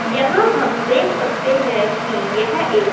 यहां हम देख सकते हैं की यह एक--